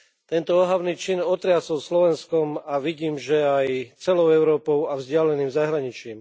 Tento ohavný čin otriasol Slovenskom a vidím, že aj celou Európou a vzdialeným zahraničím.